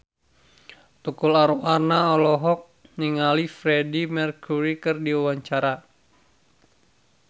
Tukul Arwana olohok ningali Freedie Mercury keur diwawancara